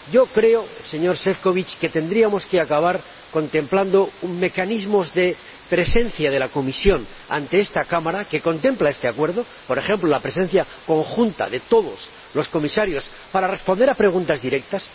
Creo, señor Šefčovič, que tendríamos que acabar contemplando un mecanismo de presencia de la Comisión ante esta Cámara que contempla este Acuerdo por ejemplo, la presencia conjunta de todos los Comisarios para responder a preguntas directas.